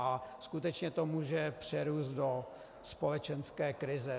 A skutečně to může přerůst do společenské krize.